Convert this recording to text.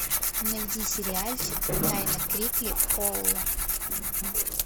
найди сериальчик тайна крикли холла